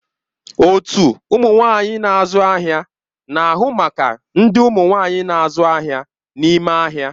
Otu ụmụ nwanyị na-azụ ahịa na-ahụ maka ndị nwanyi na-azụ ahịa n'ime ahịa.